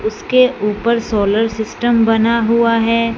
उसके ऊपर solar system बना हुआ है।